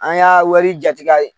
An y'a wari jati k'a ye.